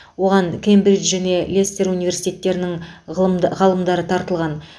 оған кембридж және лестер университеттерінің ғылым ғалымдары тартылған